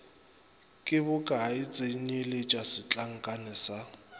ke bokae tsenyeletša setlankana sa